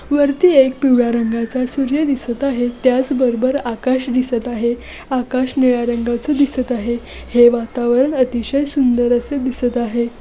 वरती एक पिवळ्या रंगाचा सूर्य दिसत आहे त्याचबरोबर आकाश दिसत आहे आकाश निळ्या रंगाचा दिसत आहे है वातावरण अतिशय सुंदर असे दिसत आहे.